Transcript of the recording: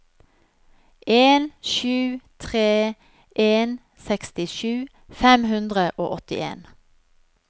en sju tre en sekstisju fem hundre og åttien